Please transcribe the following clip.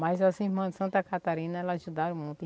Mas as irmãs de Santa Catarina, elas ajudaram muito.